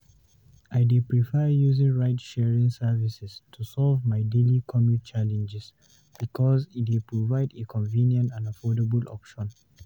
I dey prefer using ride-sharing services to solve my daily commute challenges because e dey provide a convenient and affordable option.